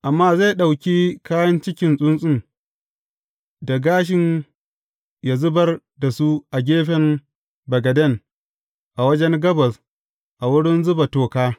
Amma zai ɗauki kayan cikin tsuntsun da gashin yă zubar da su a gefen bagaden a wajen gabas a wurin zuba toka.